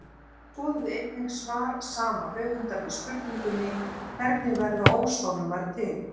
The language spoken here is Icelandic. Skoðið einnig svar sama höfundar við spurningunni Hvernig verða óshólmar til?